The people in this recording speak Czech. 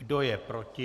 Kdo je proti?